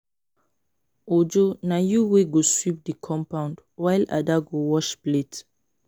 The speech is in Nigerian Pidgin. Uju na you wey go sweep the compound while Ada go wash plate